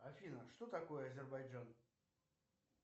афина что такое азербайджан